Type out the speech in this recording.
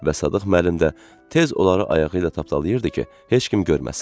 Və Sadıq müəllim də tez onları ayağı ilə tapdalayırdı ki, heç kim görməsin.